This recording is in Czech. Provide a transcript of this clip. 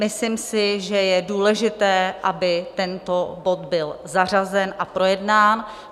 Myslím si, že je důležité, aby tento bod byl zařazen a projednán.